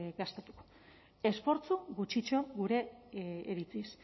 gastatuko esfortzu gutxitxo gure iritziz